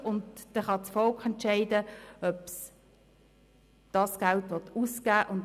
Dann kann das Volk entscheiden, ob es dieses Geld ausgeben will.